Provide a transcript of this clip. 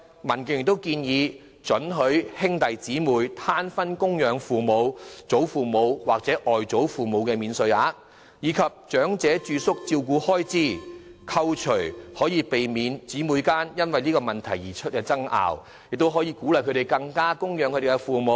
民建聯亦建議准許兄弟姊妹攤分供養父母、祖父母或外祖父母免稅額，以及扣除長者住宿照顧開支，避免兄弟姊妹間因為這個問題出現爭拗，並可鼓勵他們供養父母。